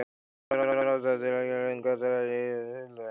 Ýmsar ástæður geta legið til grundvallar slíkri stefnu í hlutafélaginu.